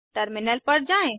terminal पर जाएँ